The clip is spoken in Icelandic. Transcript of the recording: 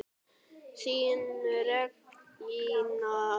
Þín Regína.